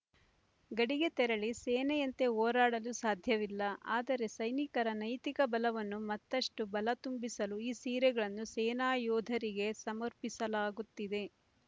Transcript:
ಗಡಿಗೆ ತೆರಳಿ ಸೇನೆಯಂತೆ ಹೋರಾಡಲು ಸಾಧ್ಯವಿಲ್ಲ ಆದರೆ ಸೈನಿಕರ ನೈತಿಕ ಬಲವನ್ನು ಮತ್ತಷ್ಟು ಬಲ ತುಂಬಿಸಲು ಈ ಸೀರೆಗಳನ್ನು ಸೇನಾಯೋಧರಿಗೆ ಸಮರ್ಪಿಸಲಾಗುತ್ತಿದೆ